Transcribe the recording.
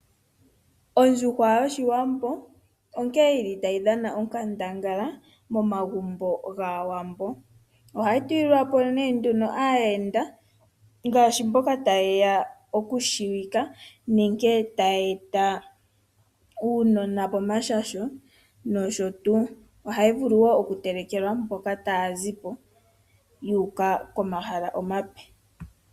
Ondjuhwa yOshiwambo onkene yili tayi dhana onkandangala momagumbo gwAawambo. Ohayi telekelwa aayenda ngele taye ya okutseyika nenge taye eta uunona pomashasho noshotuu. Ohayi vulu okutelekwa mboka taya zi po yu uka pomahala omape.